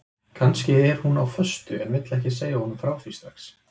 Kannski er hún á föstu en vill ekki segja honum frá því strax.